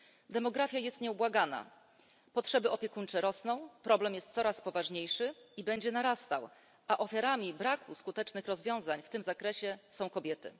Demografia jest nieubłagana potrzeby opiekuńcze rosną, problem jest coraz poważniejszy i będzie narastał, a ofiarami braku skutecznych rozwiązań w tym zakresie są kobiety.